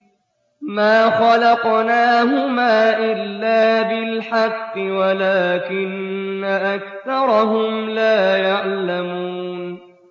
مَا خَلَقْنَاهُمَا إِلَّا بِالْحَقِّ وَلَٰكِنَّ أَكْثَرَهُمْ لَا يَعْلَمُونَ